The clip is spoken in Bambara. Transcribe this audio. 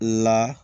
La